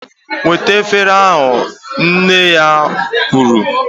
Wetanu efere ahu! Nne ya kwuru